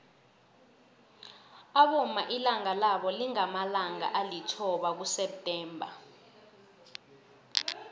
abomma ilanga labo lingamalanga alithoba kuseptember